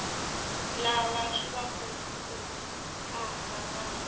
lava swi va khumbhaka va